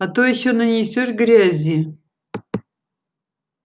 а то ещё нанесёшь грязи